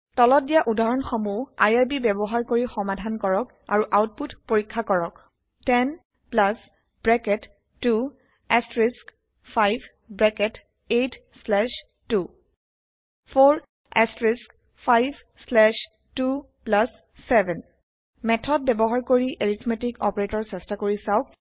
তলত দিয়া উদাহৰণ সমূহ আইআৰবি ব্যৱহাৰ কৰি সমাধান কৰক আৰু আওতপুত পৰীক্ষা কৰক 10 bracket 2 asterisk 5 bracket 8 slash 2 4 asterisk 5 slash 2 plus 7 method ব্যৱহাৰ কৰি এৰিথমেতিক অপাৰেটৰ চেষ্টা কৰি চাওক